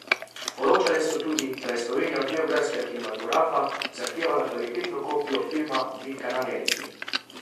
Poročale so tudi, da je Slovenija od beograjskega kinematografa zahtevala kvalitetno kopijo filma Bitka na Neretvi.